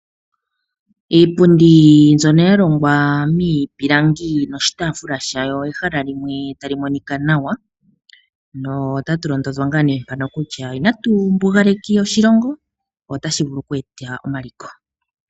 Iipundi mbyono yalongwa miipilangi noshitaafula shayo, nehala tali monika nawa. Ano otatu londodhwa ngaa nee kutya inatu mbugaleka oshilongo otashi vulu oku eta omaliko.